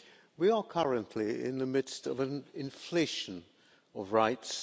We are currently in the midst of an inflation of rights.